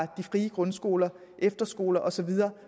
de frie grundskoler efterskoler og så videre